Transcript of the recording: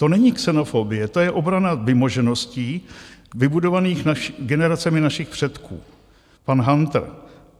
"To není xenofobie, to je obrana vymožeností vybudovaných generacemi našich předků"- pan Hantr.